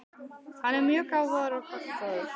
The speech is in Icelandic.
Hann er mjög gáfaður og gagnfróður.